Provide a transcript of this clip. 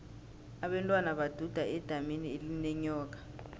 abentwana baduda edamini elinenyoka